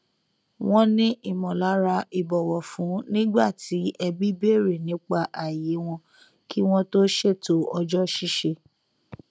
wọn ní ìmọlára ìbọwọfún nígbà tí ẹbí bèrè nípa ààyè wọn kí wọn tó ṣètò ọjọ ṣíṣe